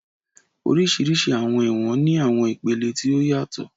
Oríṣiríṣi àwọn ẹ̀wọ̀n ní àwọn ìpele tí ó yàtọ̀